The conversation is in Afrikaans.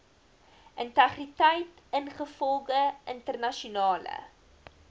integriteit ingevolge internasionale